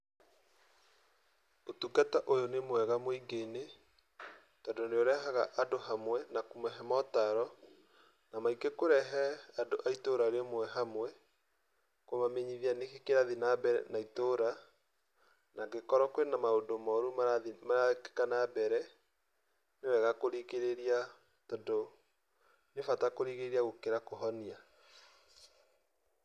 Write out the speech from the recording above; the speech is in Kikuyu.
Ũtungata ũyũ nĩ mwega mũingĩ-inĩ, tondũ nĩ ũrehaga andũ hamwe na kũmahe mũtaaro, na maingĩ kũrehe andũ a itũũra rĩmwe hamwe, kũmamenyithia nĩkĩĩ kĩrathiĩ na mbere na itũũra, angĩkorwo kwĩ na maũndũ moru marathiĩ, marekeka na mbere, nĩ wega kũrigĩrĩria, tondũ nĩ bata kũrigĩrĩria gũkĩra kũhonia.